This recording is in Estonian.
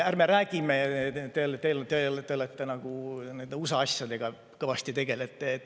Ärme räägime USA asjadest, millega teie nagu kõvasti tegelete.